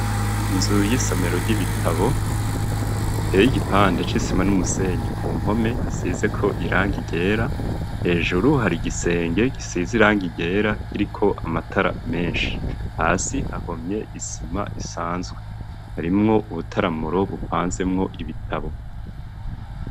Inzu y'isomero ry'ibitabo iteye igipande c'isima n'umusenyi ku mpome hasize ko irangi ryera hejuru hari igisenge gisize irangi ryera kiriko amatara meshi hasi hahomye isima isanzwe harimwo ubutaramuro bupanzemwo ibitabo.